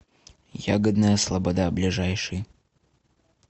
ягодная слобода ближайший